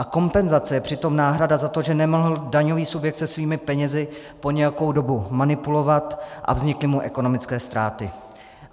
A kompenzace je přitom náhrada za to, že nemohl daňový subjekt se svými penězi po nějakou dobu manipulovat a vznikly mu ekonomické ztráty.